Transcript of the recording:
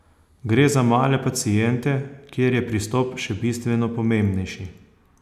Gre za male paciente, kjer je pristop še bistveno pomembnejši.